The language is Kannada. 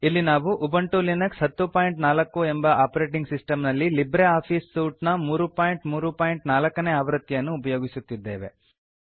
ಇಲ್ಲಿ ನಾವು ಉಬಂಟು ಲಿನಕ್ಸ್ 1004 ಎಂಬ ಆಪರೇಟಿಂಗ್ ಸಿಸ್ಟಮ್ ನಲ್ಲಿ ಲಿಬ್ರೆ ಆಫೀಸ್ ಸೂಟ್ ನ 334 ನೇ ಆವೃತ್ತಿಯನ್ನು ಉಪಯೋಗಿಸುತ್ತಿದ್ದೇವೆ